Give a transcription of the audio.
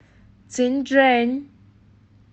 цинчжэнь